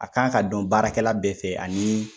A kan ka dɔn baarakɛla bɛɛ fɛ ani